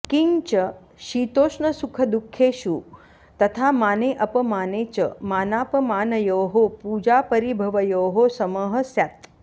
किञ्च शीतोष्णसुखदुःखेषु तथा माने अपमाने च मानापमानयोः पूजापरिभवयोः समः स्यात्